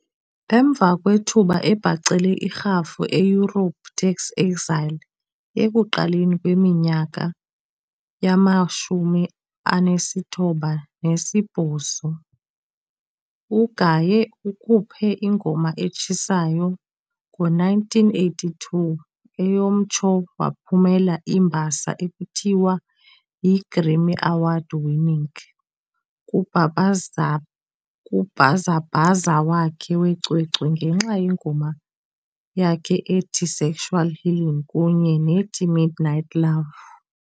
Emva kwethuba ebhacele irhafu eYurophu tax exile ekuqaleni kweminyaka yama-1980s, uGaye ukhuphe ingoma etshisayo ngo-1982 eyamtsho waphumelela iimbasa ekuthiwa yiGrammy Award-winning kubhazabhaza wakhe wecwecwe ngenxa yengoma yakhe ethi"Sexual Healing" kunye nethi "Midnight Love".